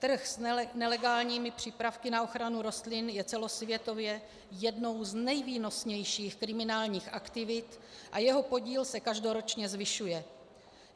Trh s nelegálními přípravky na ochranu rostlin je celosvětově jednou z nejvýnosnějších kriminálních aktivit a jeho podíl se každoročně zvyšuje.